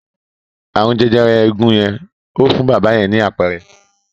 Ààrùn jẹjẹrẹ eegun yẹn ò fún bábà yẹn ni àpẹẹrẹ.